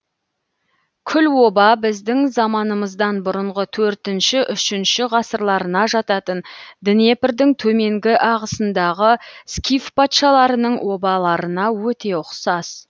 күл оба біздің заманымыздан бұрынғы төотінші үшінші ғасырларына жататын днепрдің төменгі ағысындағы скиф патшаларының обаларына өте ұқсас